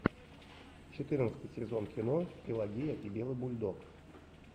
четырнадцатый сезон кино пелагея и белый бульдог